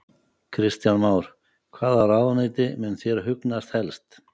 Kristján Már: Hvaða ráðuneyti mun þér hugnast helst?